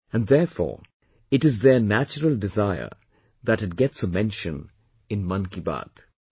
And therefore it is their natural desire that it gets a mention in 'Mann Ki Baat'